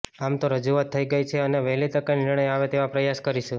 આમ તો રજૂઆત થઈ ગઈ છે અને વહેલી તકે નિર્ણય આવે તેવા પ્રયાસ કરીશું